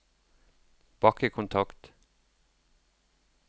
bakkekontakt